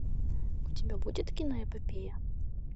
у тебя будет киноэпопея